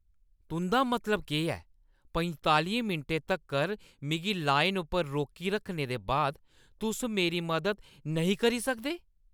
तुंʼदा मतलब केह् ऐ, पंतालियें मिंटें तक्कर मिगी लाइन उप्पर रोकी रक्खने दे बाद तुस मेरी मदद नेईं करी सकदे?